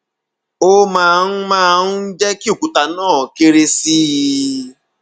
ó máa ń máa ń jẹ kí òkúta náà kéré sí i